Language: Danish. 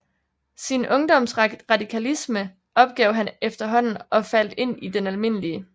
Sin Ungdoms Radikalisme opgav han efterhaanden og faldt ind i den alm